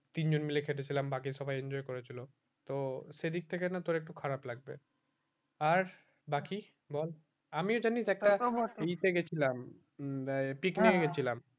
তিন জন মিলে খেটে ছিলাম বাকি সবাই enjoy করেছিল তো সেই দিক থেকে না তোর একটু খারাপ লাগবে আর বাকি বল আমিও জানিস্ একটা trip এ গেছিলাম picnic এ গিয়েছিলাম